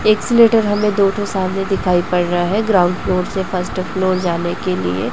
Escalator हमें दो ठो सामने दिखाई पड़ रहा है ग्राउंड फ्लोर से फर्स्ट फ्लोर जाने के लिए।